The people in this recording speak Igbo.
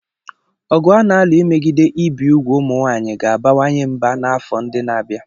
Ọgụ a na-alụ imegide ibi úgwù ụmụ nwaanyị ga-abawanye ụba n'afọ ndị na-abịa.